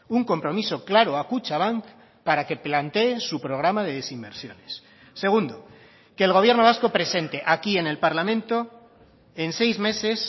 un compromiso claro a kutxabank para que plantee su programa de desinversiones segundo que el gobierno vasco presente aquí en el parlamento en seis meses